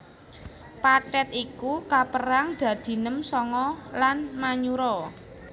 Pathet iku kapérang dadi nem sanga lan manyura